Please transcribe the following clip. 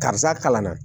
Karisa kalan na